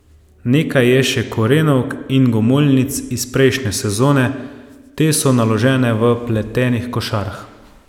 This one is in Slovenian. Nekaj je še korenovk in gomoljnic iz prejšnje sezone, te so naložene v pletenih košarah.